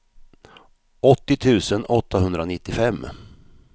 åttio tusen åttahundranittiofem